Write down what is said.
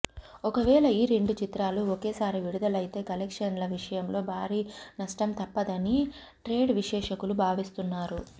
ఒకవేళ ఈ రెండు చిత్రాలు ఒకేసారి విడుదలైతే కలెక్షన్ల విషయంలో భారీ నష్టం తప్పదని ట్రేడ్ విశ్లేషకులు భావిస్తున్నారు